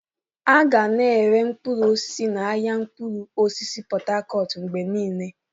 A ga na-ere mkpụrụ osisi n'ahịa mkpụrụ osisi Pot Tarcot mgbe niile.